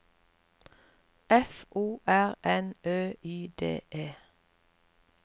F O R N Ø Y D E